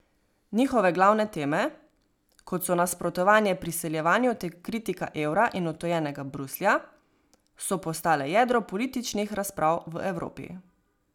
Njihove glavne teme, kot so nasprotovanje priseljevanju ter kritika evra in odtujenega Bruslja, so postale jedro političnih razprav v Evropi.